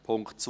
Punkt 2: